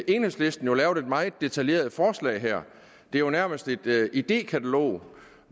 enhedslisten jo lavet et meget detaljeret forslag her det er jo nærmest et idékatalog